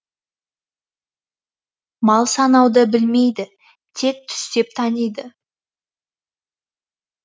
мал санауды білмейді тек түстеп таниды